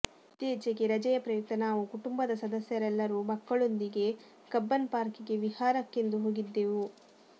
ಇತ್ತೀಚೆಗೆ ರಜೆಯ ಪ್ರಯುಕ್ತ ನಾವು ಕುಟುಂಬದ ಸದಸ್ಯರೆಲ್ಲರೂ ಮಕ್ಕಳೊಂದಿಗೆ ಕಬ್ಬನ್ಪಾರ್ಕಿಗೆ ವಿಹಾರಕ್ಕೆಂದು ಹೋಗಿದ್ದೆವು